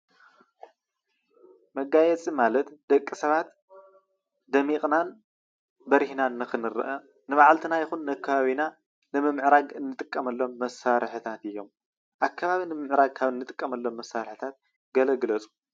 መጋየፂ ማለት ደቂ ሰባት ደሚቅናን በሪህናን ንክንርአ ነባዕልትና ይኾን ንኣከባቢና ንምምዕራግ እንጥቀመሎም መሳርሕታት እዮም። ኣከባቢ ንምምዕራግ ካብ እንጥቀመሎም መሳርሐታት ገለ ግለፁ?